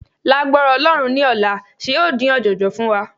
Lágbára Ọlọ́run ní ọ̀la, ṣe ó dín ọ̀jọ̀jọ̀ fún wa?